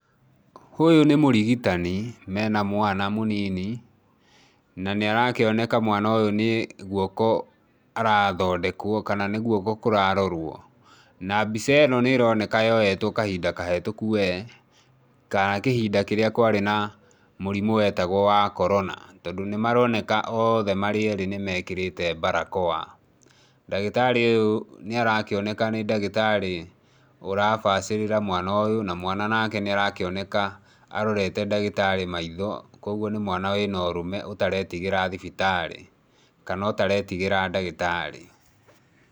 Ũyũ nĩ mũrigitani mena mwana mũnini na nĩarakĩoneka mwana ũyũ ni guoko arathondekwo kana ni guoko kũrarorwo. Na mbica ĩno nĩ ĩroneka yoetwo kahinda kahĩtũku wee, kana kĩhinda kĩrĩa kwarĩ na mũrimũ wetagwo wa Corona. Tondũ nĩ maroneka marĩothe erĩ nĩ mekĩrĩte barakoa. Ndagĩtarĩ ũyũ nĩ arakĩoneka nĩ ndagĩtarĩ urabacĩrĩra mwana ũyũ na mwana nake nĩ arakĩoneka arorete ndagĩtarĩ maitho, koguo nĩ mwana wĩna ũrũme ũtaretigĩra thibitarĩ kana ũtaretigĩra ndagĩtarĩ.